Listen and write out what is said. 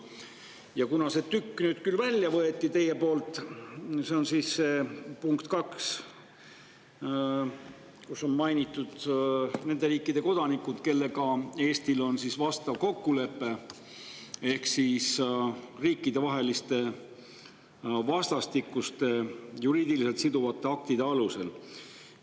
Te võtsite küll nüüd välja selle tüki, punkti 2, kus on mainitud nende riikide kodanikke, kellega Eestil on vastav kokkulepe, ehk riikidevaheliste vastastikuste juriidiliselt siduvate aktide alusel.